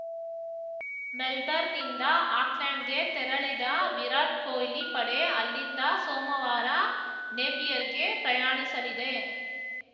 ಮೆಲ್ಬರ್ನ್‌ನಿಂದ ಆಕ್ಲೆಂಡ್‌ಗೆ ತೆರಳಿದ ವಿರಾಟ್‌ ಕೊಹ್ಲಿ ಪಡೆ ಅಲ್ಲಿಂದ ಸೋಮವಾರ ನೇಪಿಯರ್‌ಗೆ ಪ್ರಯಾಣಿಸಲಿದೆ